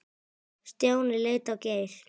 Stjáni leit á Geir.